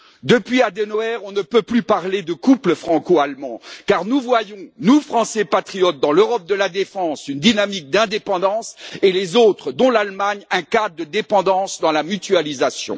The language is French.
Depuis Adenauer, on ne peut plus parler de couple franco allemand, car nous voyons, nous, Français patriotes dans l'Europe de la défense, une dynamique d'indépendance et les autres, dont l'Allemagne, un cas de dépendance dans la mutualisation.